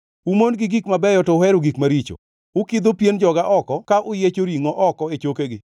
Umon gi gik mabeyo to uhero gik maricho; ukidho pien joga oko ka uyiecho ringʼo oko e chokegi.